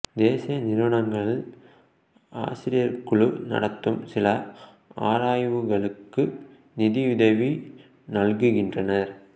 தேசிய நிறுவனங்கள் ஆசிரியக்குழு நடத்தும் சில ஆராய்வுகளுக்கு நிதியுதவி நல்குகின்றன